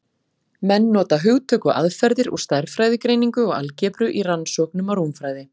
Menn nota hugtök og aðferðir úr stærðfræðigreiningu og algebru í rannsóknum á rúmfræði.